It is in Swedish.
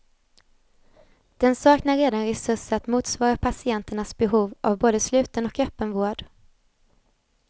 Den saknar redan resurser att motsvara patienternas behov av både sluten och öppen vård.